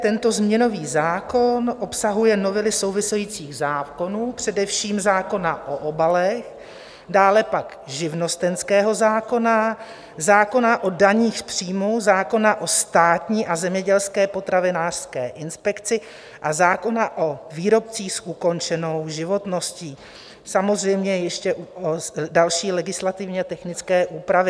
Tento změnový zákon obsahuje novely souvisejících zákonů, především zákona o obalech, dále pak živnostenského zákona, zákona o daních z příjmů, zákona o Státní a zemědělské potravinářské inspekci a zákona o výrobcích s ukončenou životností, samozřejmě ještě další legislativně technické úpravy.